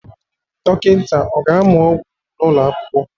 Dọkịta ọ ga-amụ ọgwụ n'ụlọ akwụkwọ?